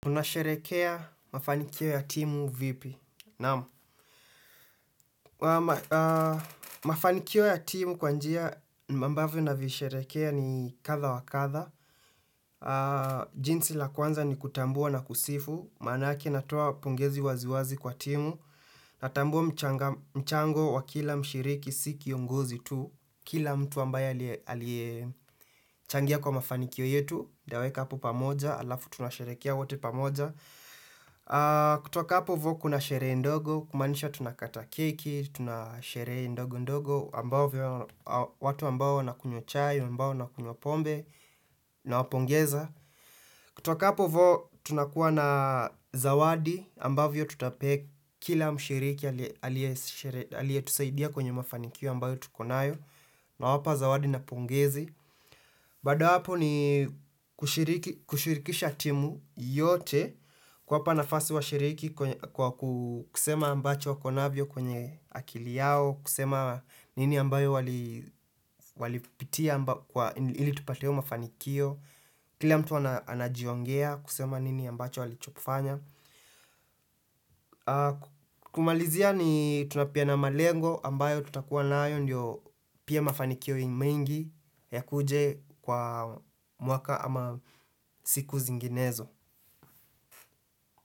Tunasherekea mafanikio ya timu vipi? Naam Mafanikio ya timu kwa njia ambavyo navisherehekea ni kadha wa kadha. Jinsi la kwanza ni kutambua na kusifu. Manake natoa pongezi wazi wazi kwa timu. Natambua mchango wa kila mshiriki si kiongozi tu. Kila mtu ambaye aliyechangia kwa mafanikio yetu. Nitaweka hapo pamoja Alafu tunasherehekea wote pamoja. Kutoka hapo ivo kuna sherehe ndogo Kumanisha tunakata keki, tunasherehee ndogo ndogo ambavyo watu ambao wanakunywa chai, ambao wanakunywa pombe nawapongeza kutoka hapo ivo tunakuwa na zawadi Ambaovyo tutapea kila mshiriki alietusaidia kwenye mafanikio ambayo tuko nayo nawapa zawadi na pongezi Baada ya hapo ni kushirikisha timu yote kuwapa nafasi washiriki kusema ambacho wako navyo kwenye akili yao, kusema nini ambayo walipitia ili tupate mafanikio, kila mtu anajiongea kusema nini ambacho walichofanya. Kumalizia ni tunapeana malengo ambayo tutakuwa nayo ndio pia mafanikio mengi yakuje kwa mwaka ama siku zinginezo.